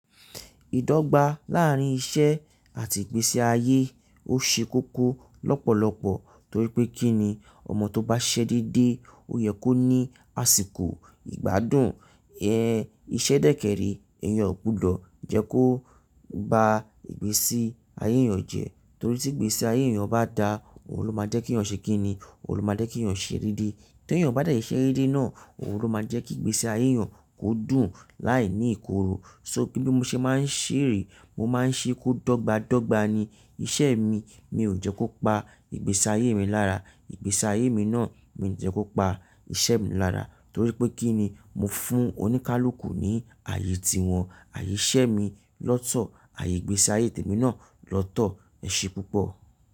Ìdọ́gba láàrín iṣẹ́ àti ìgbésí ayé ó ṣe kókó lọ́pọ̀lọpọ̀ torí pé kí ni ọmọ tó bá ṣẹ́ dédé ó yẹ kó ní àsìkò ìgbádùn. Ẹ̀ iṣẹ́ dẹ́kẹrí èèyàn kò gbọdọ̀ jẹ́ kó ba ìgbésí ayé èèyàn jẹ́ torí tí ìgbésí ayé èèyàn bá da, òun ló máa jẹ́ kí ọ̀ṣẹ́ kí ni? Òun ló máa jẹ́ kí ìyàn ṣe rírí. Tí èèyàn bá dẹ̀ ṣẹ́ rí náà, òun ló máa jẹ́ kí ìgbésí ayé èèyàn kó dùn láìní ìkorò. So kí bí mo ṣe máa ń ṣèrí, mo máa ń ṣe kó dọ́gba dọ́gba ni iṣẹ́ mi. Mi ò jẹ́ kó pa ìgbésí ayé mi lára. Ìgbésí ayé mi náà mi ò jẹ́ kó pa iṣẹ́ mi lára torí pé kí ni mo fún oníkálukú ní ààyè tí wọn, ààyè iṣẹ́ mi lọ́tọ̀, ààyè ìgbésí ayé mi náà lọ́tọ̀. Ẹ̀ ṣe púpọ̀